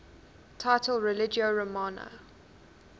title religio romana